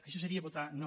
això seria votar no